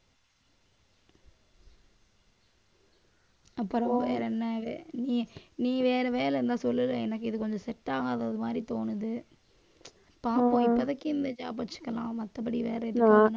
அப்புறம் வேற என்ன இது நீ நீ வேற வேலை இருந்தா சொல்லு எனக்கு, இது கொஞ்சம் set ஆகாத ஒரு மாதிரி தோணுது பாப்போம் இப்பதைக்கு இந்த job வச்சுக்கலாம். மத்தபடி வேற ஏதாவதுன்னா